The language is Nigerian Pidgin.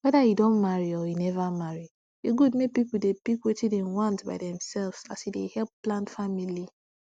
weda u don marry or neva marry e good make pipu dey pick wetin dem want by themselves as e dey help plan family